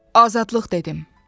Azadlıq dedim.